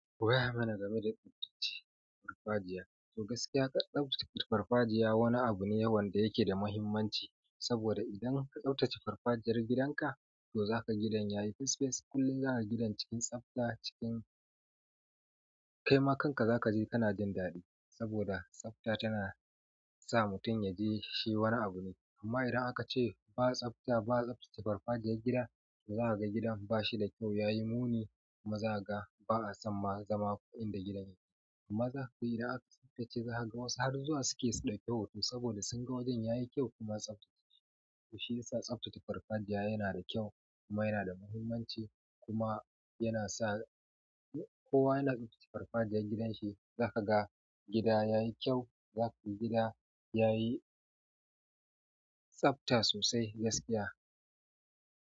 Waya mana game da tsaftace farfajiya? To gaskiya, tsaftace farfajiya wani abu ne yawance yake da muhimmanci. Saboda idan ka tsaftace farfajiyar gidanka, to zaka ga gidan yayi fes fes. Kullum zakaga gidan cikin tsabta cikin kaima kanka zakaji kana jin daɗi saboda tsafta tana sa mutum ya ji shi wani abu ne. Amma idan aka ce ba tsafta, ba tsaftace farfajiyar gida, to zaka ga gidan bashi da kyau, yayi muni, maza ga ba'a san ma zama inda gidan yake. Maza, to idan aka tsaftace, zaka ga wasu har zuwa suke so da kyau hoto saboda sun ga wajen yayi kyau kuma tsaftace. To shi yasa tsaftace farfajiya yana da kyau kuma yana da muhimmanci kuma yana sa kowa yana tsaftace farfajiyar gidanshi. Zaka ga gida yayi kyau, zaka ga gida yayi tsabta sosai gaskiya.